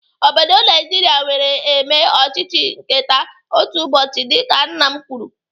Obodo Naijiria nwere eme ọchịchị nketa otu ụbọchị dịka nna m kwuru.